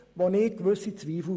Daran habe ich meine Zweifel.